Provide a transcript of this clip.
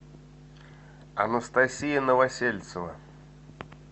анастасия новосельцева